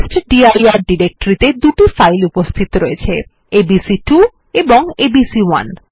টেস্টডির directory তে দুটি file উপস্থিত রয়েছে এবিসি2 এবং এবিসি1